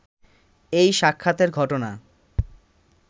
এই সাক্ষাতের ঘটনা